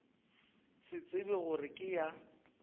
se tsebe gore ke ya